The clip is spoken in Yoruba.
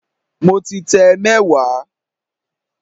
Mo ti tẹ mẹ́wàá